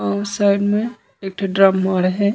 ओ साइड में एक ठो ड्रम मोड़ हे।